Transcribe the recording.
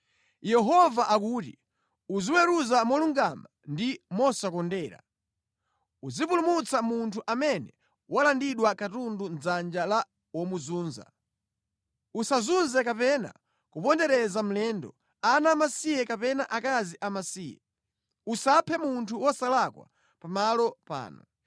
Yehova akuti, uziweruza molungama ndi mosakondera. Uzipulumutsa munthu amene walandidwa katundu mʼdzanja la womuzunza. Usazunze kapena kupondereza mlendo, ana amasiye kapena akazi amasiye. Usaphe munthu wosalakwa pa malo pano.